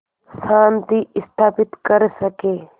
शांति स्थापित कर सकें